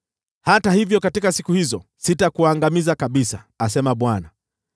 “Hata hivyo katika siku hizo, sitakuangamiza kabisa,” asema Bwana .